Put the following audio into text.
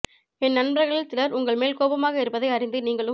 என் நண்பர்களில் சிலர் உங்கள் மேல் கோபமாக இருப்பதை அறிந்து நீங்களும்